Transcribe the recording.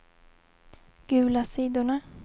gula sidorna